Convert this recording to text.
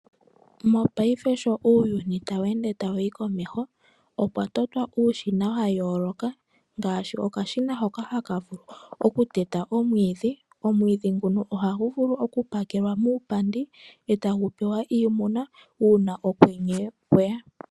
Mopaife sho uuyuni tawu ende tawuyi komeho opwa totwa uushina wa yooloka ngaashi okashina hoka haka vulu oku teta omwiidhi. Omwiidhi nguno oha gu vulu oku pakelwa muupandi etagu pewa iimuna uuna okwenye kweya.